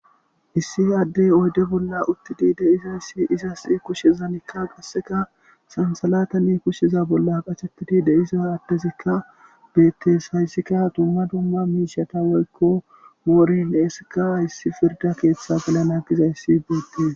issi addey oyde bolla uttidi deizayssi izas kushezanikka qasseka sansalatani kushshiza bolla qacetidi deiza addezikka beettes hayssikka dumma dumma miishata woykko mooren eesika hayssi firda keeththa gelana gizayssi beettes